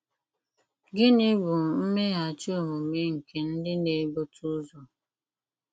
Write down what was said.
Gịnị bụ mmeghachi omume nke ndị na-ebute ụzọ?